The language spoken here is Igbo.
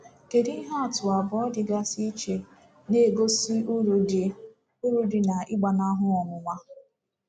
Kedu ihe atụ abụọ dịgasị iche na-egosi uru dị uru dị n’ịgbanahụ ọnwụnwa?